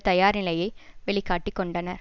தயார் நிலையை வெளி காட்டி கொண்டனர்